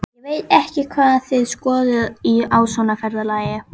Ég veit ekki hvað þið skoðið á svona ferðalagi.